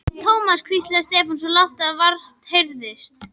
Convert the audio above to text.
Thomas hvíslaði Stefán, svo lágt að vart heyrðist.